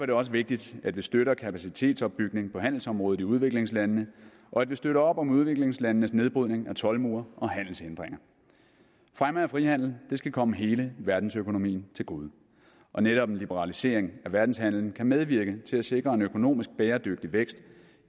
det også vigtigt at vi støtter kapacitetsopbygning på handelsområdet i udviklingslandene og at vi støtter op om udviklingslandenes nedbrydning af toldmure og handelshindringer fremme af frihandel skal komme hele verdensøkonomien til gode og netop en liberalisering af verdenshandelen kan medvirke til at sikre en økonomisk bæredygtig vækst